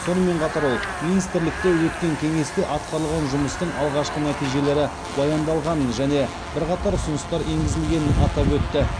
сонымен қатар ол министрлікте өткен кеңесте атқарылған жұмыстың алғашқы нәтижелері баяндалғанын және бірқатар ұсыныстар енгізілгенін атап өтті